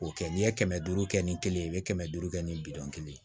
O kɛ n'i ye kɛmɛ duuru kɛ ni kelen ye i bɛ kɛmɛ duuru kɛ ni bidɔn kelen ye